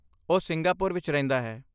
ਉਹ ਸਿੰਗਾਪੁਰ ਵਿੱਚ ਰਹਿੰਦਾ ਹੈ।